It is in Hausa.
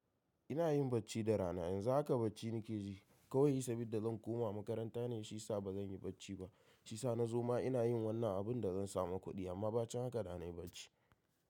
Ina yin bacci da rana. Yan zu haka bacci nikeji kawai saboda zan koma makaranta ne, shiya sa ba zan yi bacci ba. Shiya sa na zoma ina yin wannan abun da zan samu kuɗi amma ba cin haka da na yi bacci.